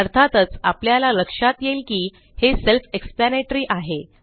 अर्थातच आपल्याला लक्षात येईल की हे सेल्फ एक्सप्लॅनेटरी आहे